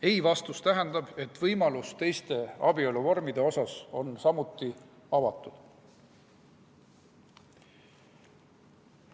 Ei‑vastus tähendab, et teiste abieluvormide võimalus on samuti avatud.